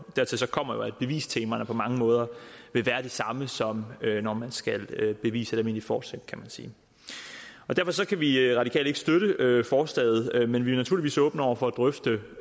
dertil kommer at bevistemaerne på mange måder vil være de samme som når man skal bevise almindeligt forsæt kan man sige derfor kan vi radikale ikke støtte forslaget men vi er naturligvis åbne over for at drøfte